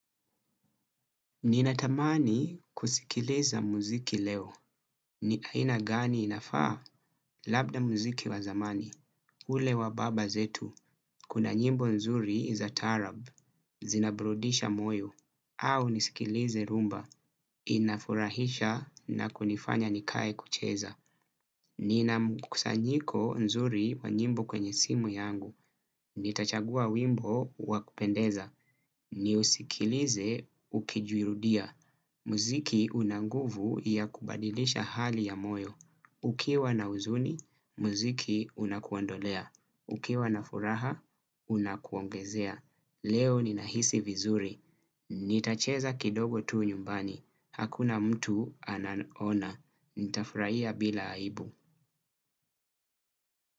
Ninatamani kusikiliza muziki leo. Aina gani inafaa labda muziki wa zamani? Ule wa baba zetu, kuna nyimbo nzuri za taarab, zinaburudisha moyo, au nisikilize rumba. Inafurahisha na kunifanya nikae kucheza. Nina mkusanyiko nzuri wa nyimbo kwenye simu yangu. Nitachagua wimbo wa kupendeza. Niusikilize ukijirudia. Muziki una nguvu ya kubadilisha hali ya moyo. Ukiwa na huzuni, muziki unakuondolea. Ukiwa na furaha, unakuongezea. Leo ninahisi vizuri. Nitacheza kidogo tu nyumbani. Hakuna mtu anaona. Nitafurahia bila aibu.